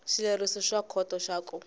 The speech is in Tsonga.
xileriso xa khoto xa ku